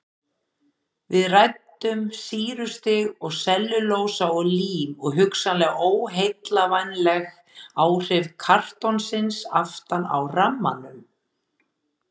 Við ræddum sýrustig og sellulósa og lím og hugsanleg óheillavænleg áhrif kartonsins aftan á rammanum.